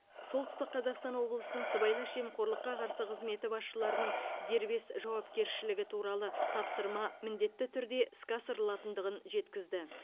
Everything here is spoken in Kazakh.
солтүстік қазақстан облысының сыбайлас жемқорлыққа қарсы қызметі басшылардың дербес жауапкершілігі туралы тапсырма міндетті түрде іске асырылатындығын жеткізді